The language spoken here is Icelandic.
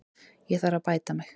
Ég þarf að bæta mig.